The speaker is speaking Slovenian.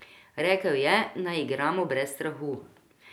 Rekel je, naj igramo brez strahu.